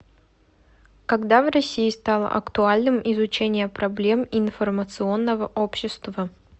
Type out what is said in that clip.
когда в россии стало актуальным изучение проблем информационного общества